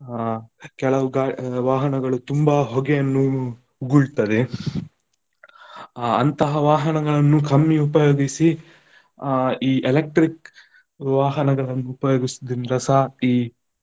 ಅಹ್ ಕೆಲವು ಗಾ~ ವಾಹನಗಳು ತುಂಬಾ ಹೊಗೆಯನ್ನು ಉಗುಳ್ತದೆ, ಅಂತಹ ವಾಹನಗಳನ್ನು ಕಮ್ಮಿ ಉಪಯೋಗಿಸಿ ಅಹ್ ಈ electric ವಾಹನಗಳನ್ನು ಉಪಯೋಗಿಸುದಿಂದ್ರಸ ಈ.